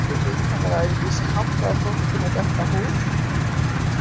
Þessu er vitanlega öðruvísi háttað á fólki með dökka húð.